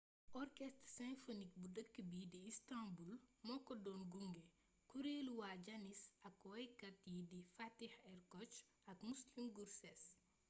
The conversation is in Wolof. orchestre symphonique bu dëkk bii di istanbul moo ko doon gunge kuréelu waa janis ak waykat yi di fatih erkoç ak müslüm gürses